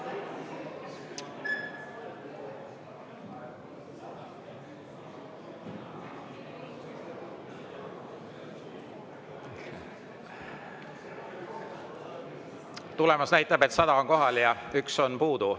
Tulemus näitab, et 100 on kohal ja 1 on puudu.